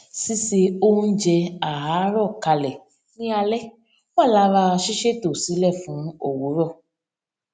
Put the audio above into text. síse oúnjẹ àárọ kalẹ ní alẹ wà lára ṣíṣẹtò sílẹ fún òwúrọ